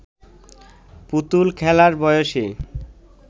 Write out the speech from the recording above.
পুতুল খেলার বয়সে